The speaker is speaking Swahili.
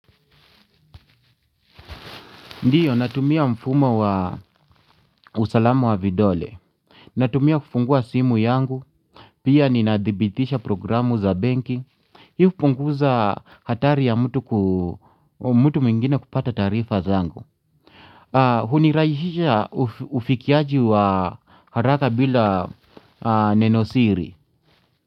Ndio, natumia mfumo wa usalama wa vidole. Natumia kufungua simu yangu. Pia ninadhibitisha programu za benki. Hio hupunguza hatari ya mtu mwigine kupata taarifa zangu. Huni rahisishia ufikiaji wa haraka bila nenosiri.